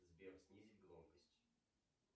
сбер снизить громкость